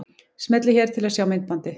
Smellið hér til að sjá myndbandið.